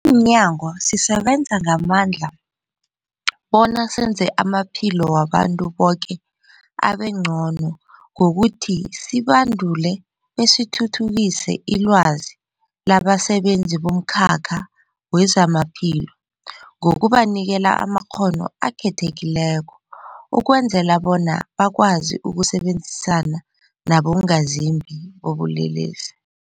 mnyango, sisebenza ngamandla bona senze amaphilo wabantu boke abengcono ngokuthi sibandule besithuthukise ilwazi labasebenzi bomkhakha wezamaphilo ngokubanikela amakghono akhethekileko ukwenzela bona bakwazi ukusebenzisana nabongazimbi bobulelesi.